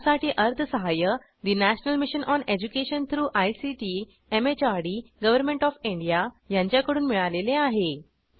यासाठी अर्थसहाय्य national mission on education through ICT MHRD government of India यांच्याकडून मिळालेले आहे